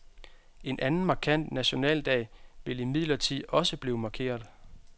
En anden markant nationaldag vil imidlertid også blive markeret.